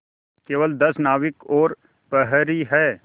केवल दस नाविक और प्रहरी है